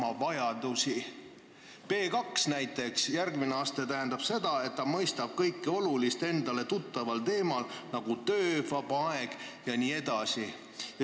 Aste B1 näiteks, järgmine aste, tähendab seda, et ta mõistab kõike olulist endale tuttaval teemal, nagu töö, vaba aeg jne.